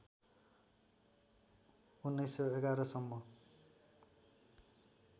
१९११ सम्म